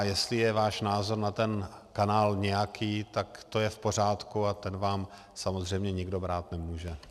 A jestli je váš názor na ten kanál nějaký, tak to je v pořádku a ten vám samozřejmě nikdo brát nemůže.